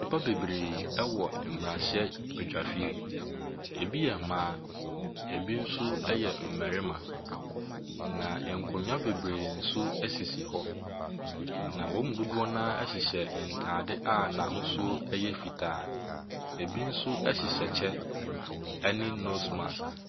Nnipa bebree wɔ mmarahyɛbadwafie. Ɛbi yɛ mmaa, ɛbi nso yɛ mmarima, na nkonnwa bebree nso sisi hɔ. Na wɔn mu dodoɔ no ara hyehyɛ ntadeɛ a n'ahosuo yɛ fitaa. Ɛbi nso hyehyɛ kyɛ ne nose mask.